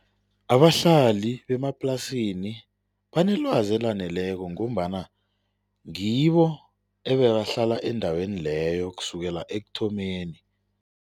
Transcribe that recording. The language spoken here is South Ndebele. Abahlali bemaplasini banelwazi elaneleko ngombana ngibo ebebahlala endaweni leyo kusukela ekuthomeni.